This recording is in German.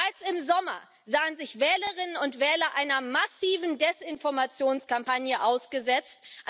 Bereits im Sommer sahen sich Wählerinnen und Wähler einer massiven Desinformationskampagne ausgesetzt.